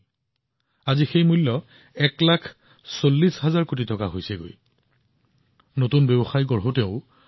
আজি আয়ুষ উৎপাদন উদ্যোগ প্ৰায় এক লাখ চল্লিশ হাজাৰ কোটি টকাত উপনীত হৈছে অৰ্থাৎ এই খণ্ডত সম্ভাৱনা নিৰন্তৰে বৃদ্ধি হৈ আছে